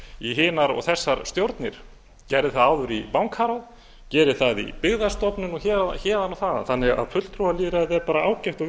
í hinar og þessar stjórnir gerði það áður í bankaráð gerir það í byggðastofnun og héðan og þaðan fulltrúalýðræðið er því bara ágætt og